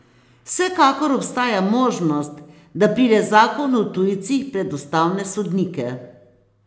Vsekakor obstaja možnost, da pride zakon o tujcih pred ustavne sodnike.